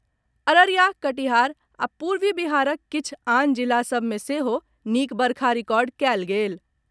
अररिया, कटिहार आ पूर्वी बिहारक किछु आन जिला सभ मे सेहो नीक वर्षा रिकॉर्ड कयल गेल।